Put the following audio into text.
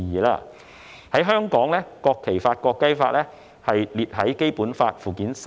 在香港，《國旗法》及《國徽法》載於《基本法》附件三。